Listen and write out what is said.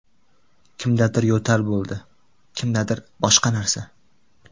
Kimdadir yo‘tal bo‘ldi, kimdadir boshqa narsa.